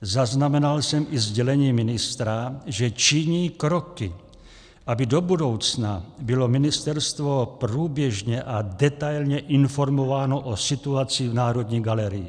Zaznamenal jsem i sdělení ministra, že činí kroky, aby do budoucna bylo ministerstvo průběžně a detailně informováno o situaci v Národní galerii.